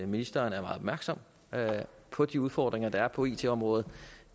ministeren er meget opmærksom på de udfordringer der er på it området